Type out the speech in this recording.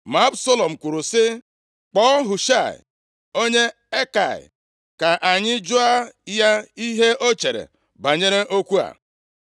Ma Absalọm kwuru sị, “Kpọọ Hushaị onye Akai ka anyị jụọ ya ihe ọ chere banyere okwu a.”